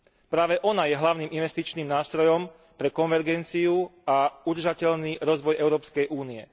Práve ona je hlavným investičným nástrojom pre konvergenciu a udržateľný rozvoj Európskej únie.